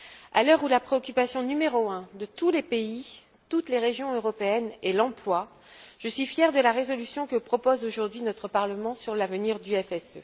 À l'heure où la préoccupation numéro un de tous les pays, de toutes les régions européennes, est l'emploi, je suis fière de la résolution que propose aujourd'hui notre Parlement sur l'avenir du FSE.